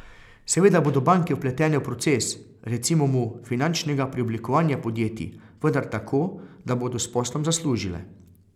Seveda bodo banke vpletene v proces, recimo mu, finančnega preoblikovanja podjetij, vendar tako, da bodo s poslom zaslužile.